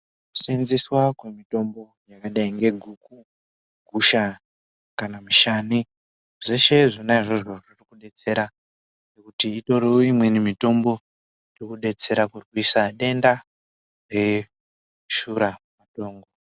Kusenzeswa kwemitombo yakadai ngeguku, gusha kana mushani zveshe izvozvo zviri kudetsera ngekuti itori imweni mitombo irikudetsera kurwisa denda reshuramatongo.